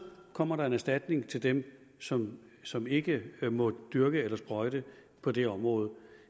kommer der en erstatning til dem som som ikke må dyrke eller sprøjte på det område